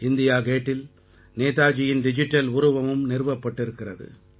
India கேட்டில் நேதாஜியின் digital உருவமும் நிறுவப்பட்டிருக்கிறது